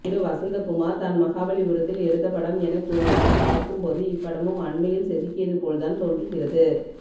திரு வசந்தகுமார் தான் மகாபலி புரத்தில் எடுத்தபடம் எனக் கூறுவதும் பார்க்கும் போது இப்படமும் அண்மையில் செதுக்கியதுபோல்தான் தோன்றுகிறது